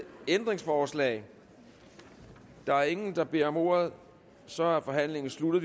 ændringsforslag der er ingen der beder om ordet så er forhandlingen sluttet